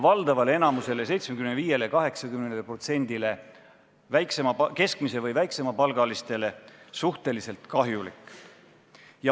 Valdavale enamusele, 75–80%-le keskmise või väikese palga teenijatele on see süsteem suhteliselt kahjulik.